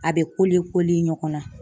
A bɛ ɲɔgɔn na